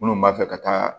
Minnu b'a fɛ ka taa